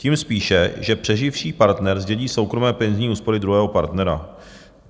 Tím spíše, že přeživší partner zdědí soukromé penzijní úspory druhého partnera.